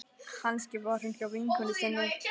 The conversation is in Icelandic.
Kannski var hún hjá vinkonu sinni.